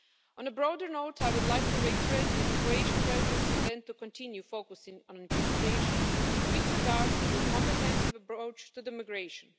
On a broader note, I would like to reiterate that the Croatian Presidency intends to continue focusing on implementation with regard to the comprehensive approach to migration.